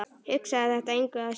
Hugsaði þetta engu að síður.